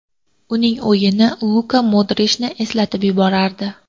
Uning o‘yini Luka Modrichni eslatib yuborardi.